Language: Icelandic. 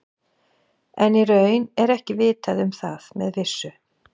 En í raun er ekki vitað um það með vissu.